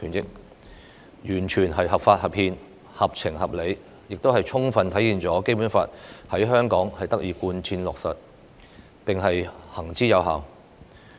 有關裁決完全是合法、合憲、合情、合理，亦充分體現《基本法》在香港得以貫徹落實，並行之有效。